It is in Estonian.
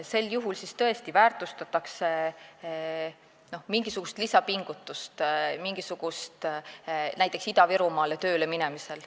Sel juhul väärtustatakse mingisugust lisapingutust.